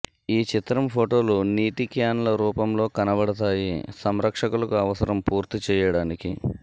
ఈ చిత్రం ఫోటోలు నీటి క్యాన్లు రూపంలో కనబడతాయి సంరక్షకులకు అవసరం పూర్తి చెయ్యడానికి